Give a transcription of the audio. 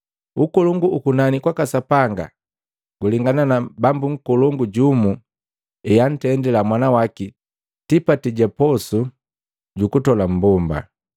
“Ukolongu u kunani kwaka Sapanga gulengana na Bambu nkolongu jumu ehantendila mwana waki tipati ga posu ja kutola mmbomba.